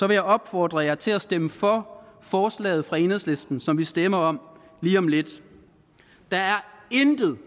jeg opfordre jer til at stemme for forslaget fra enhedslisten som vi stemmer om lige om lidt der er intet